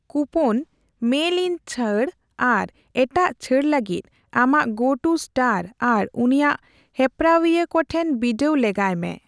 Coupon, ᱢᱮᱞᱼᱤᱱ ᱪᱷᱟᱹᱲ ᱟᱨ ᱮᱴᱟᱜ ᱪᱷᱟᱹᱲ ᱞᱟᱹᱜᱤᱫ ᱟᱢᱟᱜ ᱜᱚᱼᱴᱩ ᱮᱥᱴᱚᱨ ᱟᱨ ᱩᱱᱤᱭᱟᱜ ᱦᱮᱯᱨᱟᱣᱤᱭᱟᱹ ᱠᱚ ᱴᱷᱮᱱ ᱵᱤᱰᱟᱹᱣ ᱞᱮᱜᱟᱭ ᱢᱮ ᱾